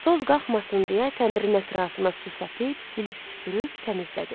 Toz qalxmasın deyə təndirin ətrafına su səpib, silib süpürüb təmizlədi.